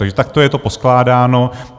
Takže takto je to poskládáno.